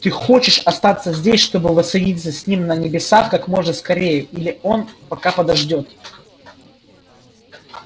ты хочешь остаться здесь чтобы воссоединиться с ним на небесах как можно скорее или он пока подождёт